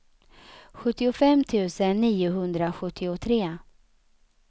sjuttiofem tusen niohundrasjuttiotre